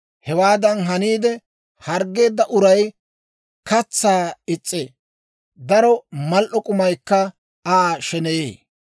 Hewaadan haniide, harggeedda uray katsaa is's'ee; daro mal"o k'umaykka Aa sheneyee.